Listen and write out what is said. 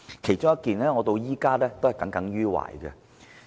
有一件事我到現在仍耿耿於懷。